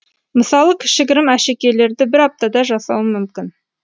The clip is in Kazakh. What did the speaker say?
мысалы кішігірім әшекейлерді бір аптада жасауым мүмкін